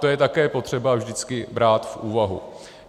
To je také potřeba vždycky brát v úvahu.